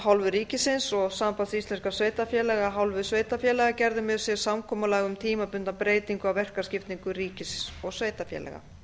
hálfu ríkisins og samband íslenskra sveitarfélaga af hálfu sveitarfélaga gerðu með sér samkomulag um tímabundna breytingu á verkaskiptingu ríkis og sveitarfélaga